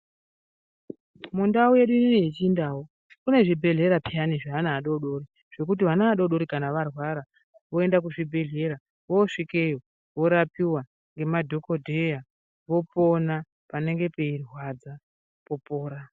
Mundau yedu ineyi yechindau, kune zvibhedhlera pheyani zveana adoodori. Zvekuti ana adoodori kana arwara oenda kuzvibhedhlera, vorapiwa ngemadhokodheya, vopona, panenge peirwadza popora.